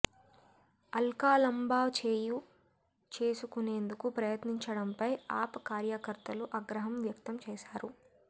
అల్కాలాంబా చేయి చేసుకునేందుకు ప్రయత్నించడంపై ఆప్ కార్యకర్తలు ఆగ్రహం వ్యక్తం చేశారు